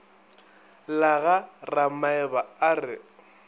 la ga ramaeba a re